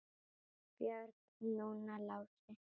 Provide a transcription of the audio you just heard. Björn, núna Lási.